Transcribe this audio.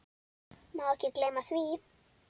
Má ekki gleyma því.